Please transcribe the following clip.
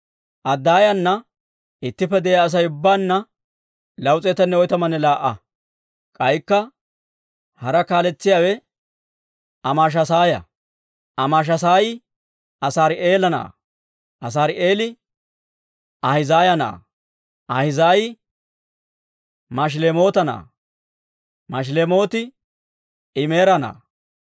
Adaayaana ittippe de'iyaa Asay ubbaanna 242. K'aykka hara kaaletsiyaawe Amaashasaaya; Amaashasaayi Azaari'eela na'aa; Azaari'eeli Ahizaaya na'aa; Ahizaayi Mashilemoota na'aa; Mashilemooti Imeera na'aa.